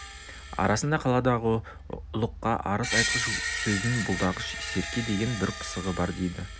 арасында қаладағы ұлыққа арыз айтқыш сөзін бұлдағыш серке деген бір пысығы бар дейді